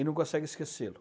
E não consegue esquecê-lo.